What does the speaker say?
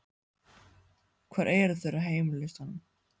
Hvar eru þeir á heimslistanum?